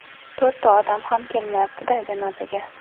To‘rtta odam ham kelmayapti-da janozaga.